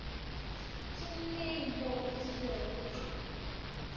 ke neng mo o kilego